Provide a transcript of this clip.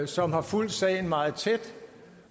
som har fulgt sagen meget tæt